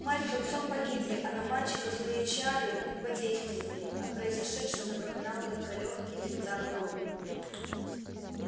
мать с отцом погибли а на мальчика злые чары не подействовали о произошедшем напоминал только лёгкий зигзаг на лбу